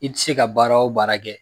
I tɛ se ka baara o baara kɛ